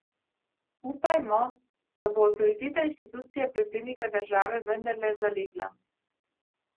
Upajmo, da bo avtoriteta inštitucije Predsednika države vendarle zalegla.